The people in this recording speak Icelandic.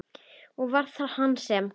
Og var það hann sem?